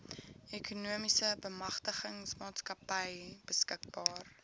ekonomiese bemagtigingsmaatskappy beskikbaar